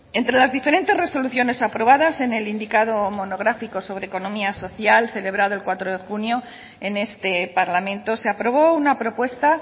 entre las diferentes resoluciones aprobadas en el indicado monográfico sobre economía social celebrado el cuatro de junio en este parlamento se aprobó una propuesta